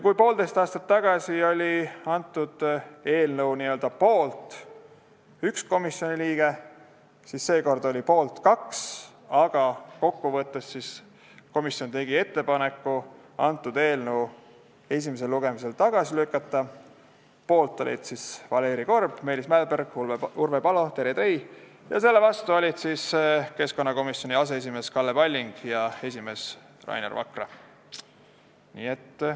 Kui poolteist aastat tagasi oli eelnõu n-ö poolt 1 komisjoni liige, siis seekord oli poolt 2 liiget, aga komisjon tegi ettepaneku eelnõu esimesel lugemisel tagasi lükata, selle poolt olid Valeri Korb, Meelis Mälberg, Urve Palo, Terje Trei ja selle vastu olid keskkonnakomisjoni aseesimees Kalle Palling ja esimees Rainer Vakra.